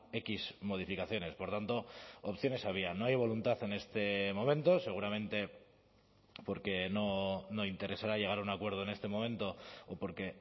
equis modificaciones por tanto opciones había no hay voluntad en este momento seguramente porque no interesará llegar a un acuerdo en este momento o porque